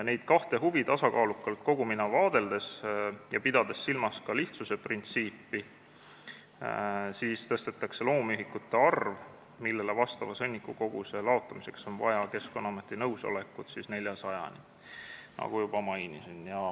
Neid kahte huvi tasakaalukalt kogumina vaadeldes ja pidades silmas ka lihtsuse printsiipi, tõstetakse loomühikute arv, millele vastava sõnnikukoguse laotamiseks on vaja Keskkonnaameti nõusolekut, 400-ni, nagu juba mainisin.